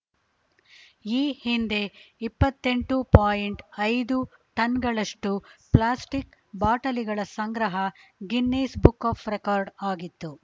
ಈ ಹಿಂದೆ ಇಪ್ಪತ್ತೆಂಟು ಪಾಯಿಂಟ್ ಐದು ಟನ್‌ಗಳಷ್ಟು ಪ್ಲಾಸ್ಟಿಕ್‌ ಬಾಟಲಿಗಳ ಸಂಗ್ರಹ ಗಿನ್ನಿಸ್‌ ಬುಕ್‌ ಆಫ್‌ ರೆಕಾರ್ಡ್‌ ಆಗಿತ್ತು